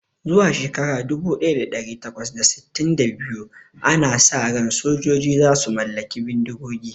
Zuwa shekara dubu daya da dari takwas da sittin da biyu, ana sa ran sojoji za su mallaki bindigogi